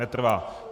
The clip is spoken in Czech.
Netrvá.